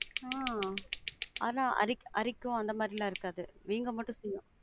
ஆஹ் ஆனா அரிக்கும் அரிக்கும் அந்த மாதிரிலாம் இருக்காது. வீங்க மட்டும் செய்யும்.